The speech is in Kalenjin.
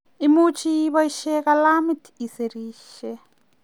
much ibaishe kalamit isirishe